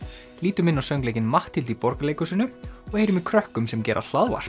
lítum inn á söngleikinn Matthildi í Borgarleikhúsinu og heyrum í krökkum sem gera